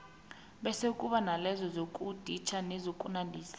bese kube nalezo zokuditjha nokunandisa